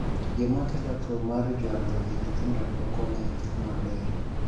Gima kelo tuo mar jwalo e nyithindo pokong'e maber